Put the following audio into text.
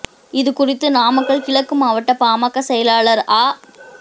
இது குறித்து நாமக்கல் கிழக்கு மாவட்ட பாமக செயலாளா் ஆ